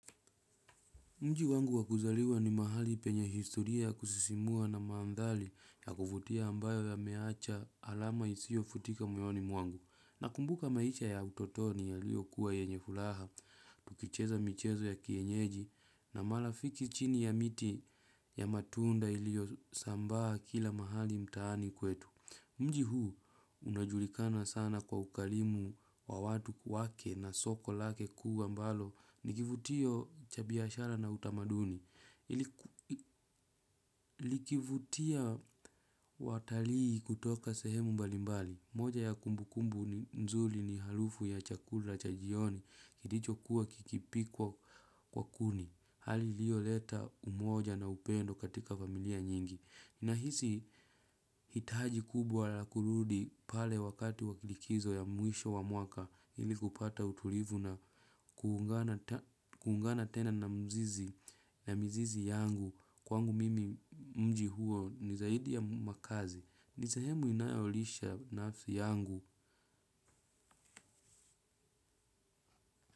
Mji wangu wakuzaliwa ni mahali penye historia kusisimua na manthari ya kuvutia ambayo yameacha alama isio futika moyoni mwangu. Nakumbuka maisha ya utotoni yaliyo kuwa yenye furaha, tukicheza michezo ya kienyeji na marafiki chini ya miti ya matunda ilio sambaa kila mahali mtaani kwetu. Mji huu, unajulikana sana kwa ukarimu wa watu wake na soko lake kuwa ambalo, nikivutio cha biashara na utamaduni. Likivutia watalii kutoka sehemu mbali mbali. Moja ya kumbukumbu nzuri ni harufu ya chakula cha jioni, kilicho kuwa kikipikwa kwa kuni. Hali iliyo leta umoja na upendo katika familia nyingi. Na hizi hitaji kubwa la kurudi pale wakati walikizo ya mwisho wa mwaka ili kupata utulivu na kuungana tena na mzizi na mizizi yangu kwangu mimi mji huo ni zaidi ya makazi. Ni sehemu inayolisha nafsi yangu.